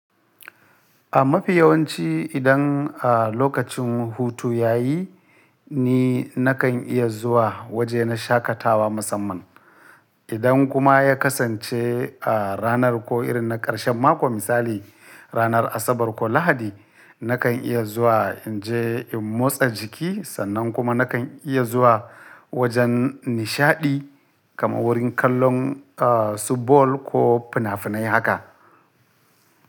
A mafi yawanci idan a lokacin hutu ya yi ni nakan iya zuwa waje na shakatawa musamman. Idan kuma ya kasance a ranar ko irin na ƙarshen mako misali ranar Asabar ko Lahadi nakan iya zuwa in je in motsa jiki sannan kuma nakan iya zuwa wajen nishaɗi kamar wurin kallon a subbol ko finafinai haka.